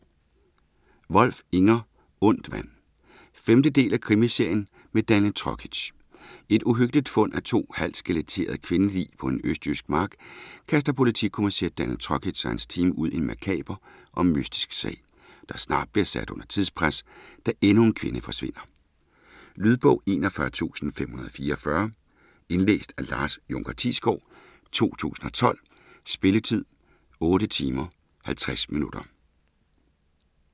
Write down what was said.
Wolf, Inger: Ondt vand 5. del af krimiserien med Daniel Trokic. Et uhyggeligt fund af to halvt skeletterede kvindelig på en østjysk mark kaster politikommissær Daniel Trokic og hans team ud i en makaber og mystisk sag, der snart bliver sat under tidspres, da endnu en kvinde forsvinder. Lydbog 41544 Indlæst af Lars Junker Thiesgaard, 2012. Spilletid: 8 timer, 50 minutter.